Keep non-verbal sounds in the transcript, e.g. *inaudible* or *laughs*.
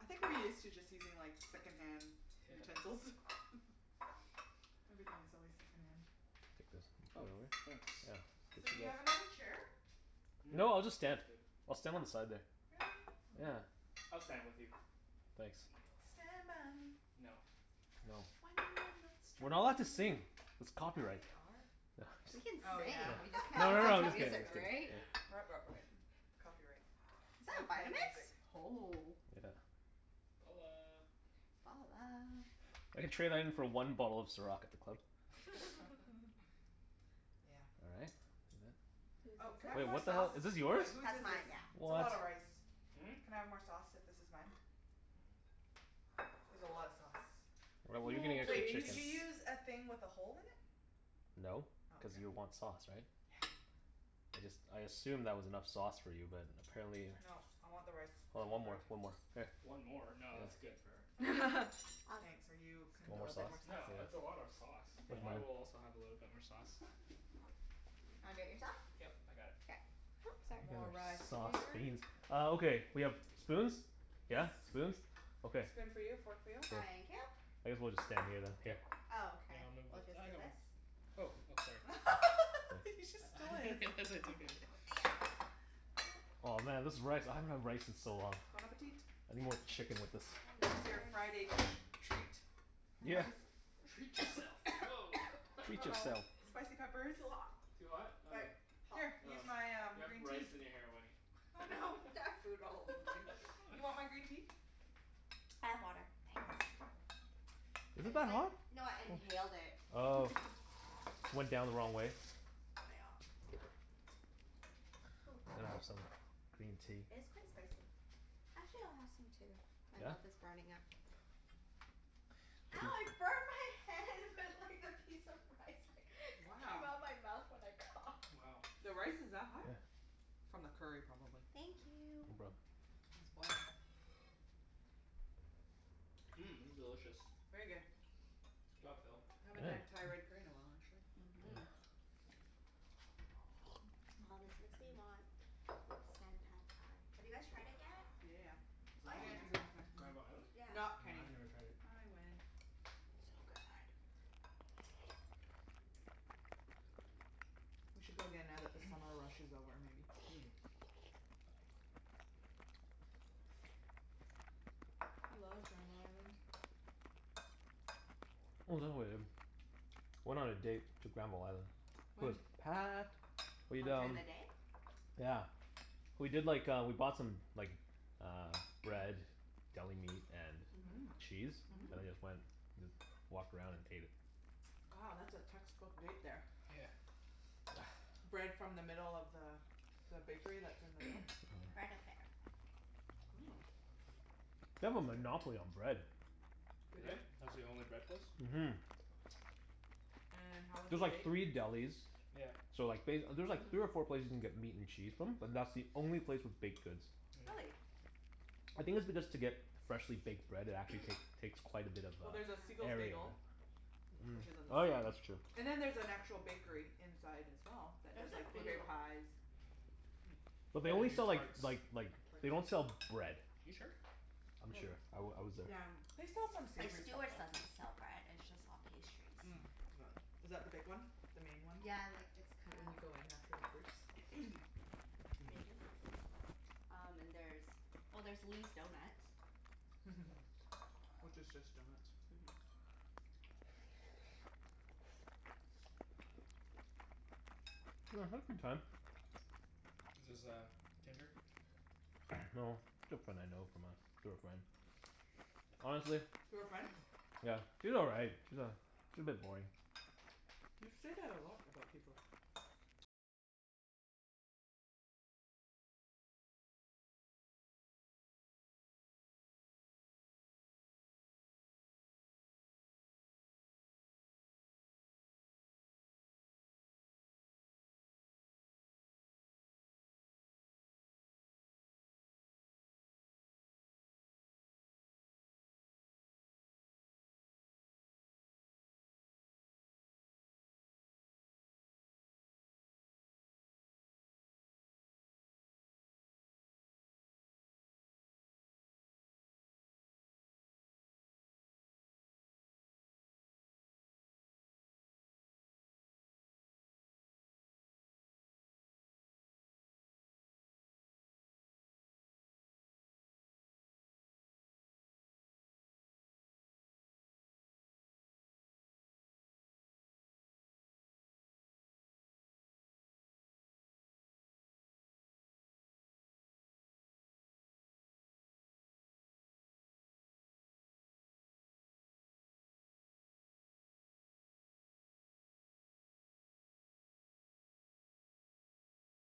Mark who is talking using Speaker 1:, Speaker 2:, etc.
Speaker 1: I think we're used to just using like second-hand
Speaker 2: *laughs*
Speaker 1: utensils. *laughs* Everything is always second-hand.
Speaker 3: Take this. Oh
Speaker 2: Oh,
Speaker 3: really?
Speaker 2: thanks.
Speaker 1: So, do you have
Speaker 3: Yeah. *inaudible*
Speaker 1: another chair?
Speaker 2: Mmm,
Speaker 3: No, I'll just stand.
Speaker 2: that's good.
Speaker 3: I'll stand on the side there.
Speaker 1: Really?
Speaker 3: Yeah.
Speaker 1: Oh.
Speaker 2: I'll stand with you.
Speaker 3: Thanks.
Speaker 4: *inaudible*
Speaker 1: Stand by me.
Speaker 2: No.
Speaker 3: No.
Speaker 1: When you're not
Speaker 3: We're not allowed to
Speaker 1: strong.
Speaker 3: sing. It's
Speaker 1: Yeah,
Speaker 3: copyright.
Speaker 1: we are.
Speaker 3: *laughs*
Speaker 4: We
Speaker 3: Just,
Speaker 4: can
Speaker 1: Oh,
Speaker 2: *noise*
Speaker 1: yeah.
Speaker 4: sing, we just can't
Speaker 3: no no
Speaker 1: *laughs*
Speaker 4: listen
Speaker 3: no
Speaker 4: to
Speaker 3: just kidding.
Speaker 1: There's
Speaker 4: music,
Speaker 3: Just
Speaker 1: copy.
Speaker 3: kidding.
Speaker 4: right?
Speaker 2: *noise*
Speaker 1: Right, right, right. Copyright.
Speaker 4: Is that
Speaker 1: No
Speaker 4: a
Speaker 1: playing
Speaker 4: Vitamix?
Speaker 1: music.
Speaker 4: Oh.
Speaker 3: Yeah.
Speaker 2: Balla.
Speaker 4: Ballah.
Speaker 3: I could trade that in for one bottle of Ciroc at the club.
Speaker 1: *laughs*
Speaker 2: *laughs*
Speaker 1: Yeah.
Speaker 3: All right. And that.
Speaker 4: Whose
Speaker 1: Oh, can I
Speaker 4: is
Speaker 1: have
Speaker 3: Wait,
Speaker 1: more
Speaker 3: what
Speaker 4: this?
Speaker 3: the
Speaker 1: sauce?
Speaker 3: hell? Is this
Speaker 1: Oh, wait.
Speaker 3: yours?
Speaker 1: Whose
Speaker 4: That's
Speaker 1: is this?
Speaker 4: mine, yeah.
Speaker 1: It's a lot
Speaker 3: What?
Speaker 1: of rice.
Speaker 2: Hmm?
Speaker 1: Can I have more sauce, if this is mine?
Speaker 2: Mm.
Speaker 1: There's a lot of sauce.
Speaker 3: Well, what are you gonna
Speaker 2: More,
Speaker 3: get for
Speaker 1: Wait. Did
Speaker 2: please.
Speaker 3: chicken?
Speaker 1: you use a thing with a hole in it?
Speaker 3: No,
Speaker 1: Oh,
Speaker 3: cuz
Speaker 1: okay.
Speaker 3: you want sauce, right?
Speaker 1: Yeah.
Speaker 3: I just, I assumed that was enough sauce for you, but apparently
Speaker 1: Nope. I want the rice
Speaker 3: Oh, one more,
Speaker 1: covered.
Speaker 3: one more. Here.
Speaker 2: One more? No,
Speaker 3: Yeah.
Speaker 2: that's good for her.
Speaker 1: That's good.
Speaker 4: *laughs* I'll scoop
Speaker 1: Thanks. Are you con-
Speaker 4: a
Speaker 3: Want more
Speaker 4: little bit more
Speaker 3: sauce?
Speaker 4: sauce
Speaker 2: No,
Speaker 4: in
Speaker 3: Yeah.
Speaker 2: that's a lot of
Speaker 4: it.
Speaker 2: sauce, but
Speaker 3: Where's
Speaker 1: Okay.
Speaker 2: I
Speaker 3: mine?
Speaker 2: will also have a little bit more sauce.
Speaker 4: Do you wanna do it yourself?
Speaker 2: Yep, I got it.
Speaker 4: K. Oops,
Speaker 3: You guys
Speaker 1: More
Speaker 4: sorry.
Speaker 1: rice
Speaker 3: are sauce
Speaker 1: here.
Speaker 3: fiends. Oh, okay. We have spoons?
Speaker 1: Yes.
Speaker 3: Yeah, spoons? Okay.
Speaker 1: Spoon for you, fork for you.
Speaker 3: Good.
Speaker 4: Thank you.
Speaker 3: I guess we'll just stand here then. Yeah.
Speaker 2: Yep.
Speaker 4: Oh,
Speaker 2: Here,
Speaker 4: okay.
Speaker 2: I'll move
Speaker 4: We'll
Speaker 2: with,
Speaker 4: just
Speaker 2: I
Speaker 4: do
Speaker 2: got one.
Speaker 4: this.
Speaker 2: Oh, oh sorry.
Speaker 1: *laughs*
Speaker 3: Thanks.
Speaker 1: He just stole
Speaker 2: *laughs* I
Speaker 1: his.
Speaker 2: guess I took it.
Speaker 1: *laughs*
Speaker 4: There.
Speaker 3: Oh man, this rice. I haven't had rice in so long.
Speaker 1: Bon appetit.
Speaker 3: I need more chicken with
Speaker 4: I
Speaker 3: this.
Speaker 1: This
Speaker 4: love
Speaker 1: is your
Speaker 4: rice.
Speaker 1: Friday treat.
Speaker 3: Yeah.
Speaker 1: Rice.
Speaker 2: Treat yourself. Woah. *laughs*
Speaker 3: Treat
Speaker 1: uh-oh.
Speaker 3: yourself.
Speaker 1: Spicy peppers?
Speaker 4: *noise* Too hot.
Speaker 2: Too hot? Oh.
Speaker 4: Like hot.
Speaker 1: Here,
Speaker 4: *noise* I
Speaker 2: Oh.
Speaker 1: use my um
Speaker 2: You have
Speaker 1: green
Speaker 2: rice
Speaker 1: tea.
Speaker 2: in your hair, Wenny.
Speaker 1: Oh
Speaker 2: *laughs*
Speaker 1: no.
Speaker 4: have food all over me.
Speaker 1: *laughs* You want my green tea?
Speaker 4: I have water,
Speaker 1: Okay.
Speaker 4: thanks.
Speaker 3: Is
Speaker 4: I
Speaker 3: it
Speaker 4: just
Speaker 3: that
Speaker 4: like,
Speaker 3: hot?
Speaker 4: no I
Speaker 3: Huh.
Speaker 4: inhaled it.
Speaker 3: Oh.
Speaker 1: *laughs*
Speaker 3: Went down the wrong way?
Speaker 4: Nyeah. *noise* Hoo.
Speaker 3: Better have some green tea.
Speaker 4: It is quite spicy. Actually, I'll have some
Speaker 2: *noise*
Speaker 4: too. My
Speaker 3: Yeah?
Speaker 4: mouth is burning up. Ow, I
Speaker 3: Hmm.
Speaker 4: burned my hand with like the piece of rice that came
Speaker 1: Wow.
Speaker 4: out of my mouth when I
Speaker 2: *noise*
Speaker 4: coughed.
Speaker 2: Wow.
Speaker 1: The
Speaker 2: Yeah.
Speaker 1: rice is that hot?
Speaker 3: Yeah.
Speaker 1: From the curry, probably.
Speaker 4: Thank
Speaker 3: No
Speaker 4: you.
Speaker 3: problem.
Speaker 1: It's boiling.
Speaker 2: *noise* Mmm, this is delicious.
Speaker 1: Very good.
Speaker 2: Good job, Phil.
Speaker 1: Haven't had
Speaker 3: Yeah.
Speaker 1: Thai red curry
Speaker 3: *noise*
Speaker 1: in a while, actually.
Speaker 4: Mhm.
Speaker 3: Yeah.
Speaker 4: Aw, this makes me
Speaker 1: *noise*
Speaker 4: want Sen Pad Thai. Have you guys tried it yet?
Speaker 1: Yeah, yeah,
Speaker 2: *noise* Is
Speaker 4: Oh
Speaker 2: that the
Speaker 4: yeah, you
Speaker 2: one,
Speaker 4: guys
Speaker 1: yeah. *inaudible*
Speaker 4: went
Speaker 1: last time.
Speaker 2: Granville Island?
Speaker 4: Yeah.
Speaker 2: No,
Speaker 1: Not Kenny.
Speaker 2: I've never tried it.
Speaker 1: I went.
Speaker 4: So good.
Speaker 1: We should go again now that the summer rush is over, maybe?
Speaker 2: *noise* Mm.
Speaker 4: *noise*
Speaker 1: I love Granville Island.
Speaker 3: *noise* Oh, is that what I did? *noise* Went on a date to Granville Island. It was
Speaker 1: When?
Speaker 3: packed.
Speaker 4: *noise* Oh,
Speaker 3: We'd
Speaker 4: during
Speaker 3: um
Speaker 4: the day?
Speaker 3: *noise* Yeah. We did like uh, we bought some like uh bread.
Speaker 4: *noise*
Speaker 3: Deli
Speaker 2: *noise*
Speaker 3: meat
Speaker 4: Mhm.
Speaker 3: and
Speaker 1: Mmm.
Speaker 3: cheese. And then
Speaker 4: Mhm.
Speaker 1: Mmm.
Speaker 3: just went, just walked around and ate it.
Speaker 1: Oh, that's a textbook date, there.
Speaker 2: *noise* Yeah.
Speaker 4: *noise*
Speaker 1: Bread from the middle of the the bakery that's in the middle?
Speaker 4: Bread Affair.
Speaker 1: Oh.
Speaker 3: *noise* They have a monopoly on
Speaker 1: *inaudible*
Speaker 3: bread. *noise*
Speaker 2: *noise*
Speaker 1: They
Speaker 2: Do
Speaker 1: do?
Speaker 2: they? That's the only bread place?
Speaker 3: Mhm.
Speaker 1: And how
Speaker 3: *noise*
Speaker 1: was the
Speaker 3: There's like
Speaker 1: bake?
Speaker 3: three delis
Speaker 2: *noise* Yep.
Speaker 3: *noise* so like ba-
Speaker 4: *noise*
Speaker 3: there's three or
Speaker 4: Mhm.
Speaker 3: four places you can get meat and cheese from, but that's the only
Speaker 4: *noise*
Speaker 3: place with baked goods.
Speaker 2: *noise* Mm.
Speaker 4: Really?
Speaker 3: *noise* I think it's because to get freshly baked bread it actually take takes quite a bit of
Speaker 1: Well, there's a
Speaker 3: uh
Speaker 1: Siegel's
Speaker 4: Yeah.
Speaker 3: area.
Speaker 1: Bagel.
Speaker 3: Mm,
Speaker 1: Which isn't the
Speaker 3: oh yeah,
Speaker 1: same.
Speaker 3: that's true.
Speaker 1: And then there's an actual bakery inside, as well, that
Speaker 4: There's
Speaker 1: does
Speaker 4: a
Speaker 1: like blueberry
Speaker 4: few.
Speaker 1: pies. Mmm.
Speaker 2: *noise*
Speaker 3: *noise* But they
Speaker 2: Yeah, we
Speaker 3: only
Speaker 2: do
Speaker 3: sell like
Speaker 2: tarts.
Speaker 3: like like, they
Speaker 1: Tarts.
Speaker 3: don't sell bread.
Speaker 2: You sure?
Speaker 3: I'm
Speaker 2: No,
Speaker 3: sure. I
Speaker 2: oh.
Speaker 3: w- I was there.
Speaker 4: *noise* Yeah.
Speaker 1: They sell some
Speaker 4: Like
Speaker 1: savory stuff,
Speaker 4: Stewart's
Speaker 1: though.
Speaker 4: doesn't sell bread. It's
Speaker 2: *noise*
Speaker 4: just all pastries.
Speaker 2: Mm.
Speaker 1: Mm
Speaker 2: *noise*
Speaker 1: *noise* is that the big one? The main one?
Speaker 4: Yeah, like it's
Speaker 1: Right
Speaker 4: kinda
Speaker 1: when you go in, after the fruits?
Speaker 4: *noise*
Speaker 2: Mm.
Speaker 4: Maybe. Um and there's, well there's Lee's Donuts. *noise*
Speaker 1: *laughs* Which is just
Speaker 3: *noise*
Speaker 1: donuts.
Speaker 4: Mhm.
Speaker 2: *noise* *noise*
Speaker 3: *noise* I had a good time. *noise* No,
Speaker 2: Is this
Speaker 3: just a
Speaker 2: uh Tinder?
Speaker 3: girl I know from uh, through a friend. *noise* Honestly
Speaker 1: Through a friend?
Speaker 2: *noise*
Speaker 3: *noise* Yeah, she's all right. She's a she's a bit boring.
Speaker 1: You say that a lot about people.